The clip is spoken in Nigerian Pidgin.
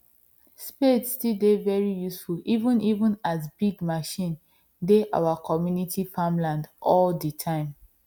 spade still dey very useful even even as big machine dey our community farmland all the time